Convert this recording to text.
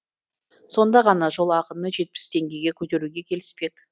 сонда ғана жол ақыны жетпіс теңгеге көтеруге келіспек